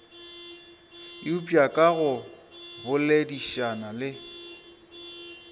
eupša ka go boledišana taba